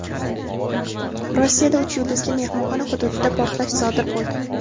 Rossiyada "uch yulduzli" mehmonxona hududida portlash sodir bo‘ldi.